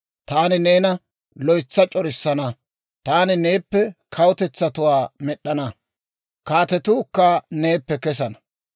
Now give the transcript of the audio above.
Taani neena loytsa c'orissana; taani neeppe kawutetsatuwaa med'd'ana; kaatetuukka neeppe kesana.